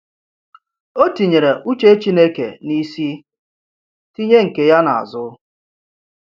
O tinyere uche Chineke n’isi, tinye nke ya n’azụ.